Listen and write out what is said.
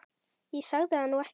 Ég sagði það nú ekki.